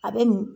A bɛ nin